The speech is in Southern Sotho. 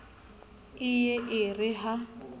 e ye e re ha